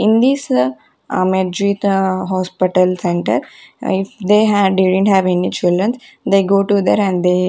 In this hospital center if they had didn't have any children they go to there and they--